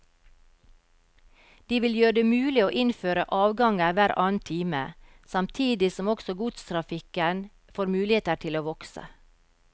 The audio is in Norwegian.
De vil gjøre det mulig å innføre avganger hver annen time, samtidig som også godstrafikken får muligheter til å vokse.